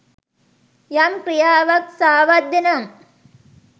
යම් ක්‍රියාවක් සාවද්‍ය නම්